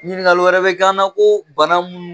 Ɲininkali wɛrɛ bɛ k'an na ko bana minnu